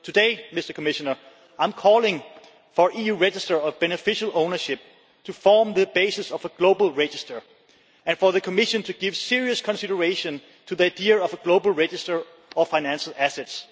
Today, I am calling for an EU register of beneficial ownership to form the basis of a global register and for the Commission to give serious consideration to the idea of a global register of financial assets.